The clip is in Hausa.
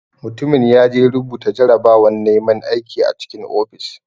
Mutumin yaje rubuta jarabawan naiman aiki a cikin ofis.